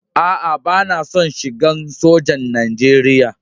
Aa, bana son shigan sojan Nijeriya.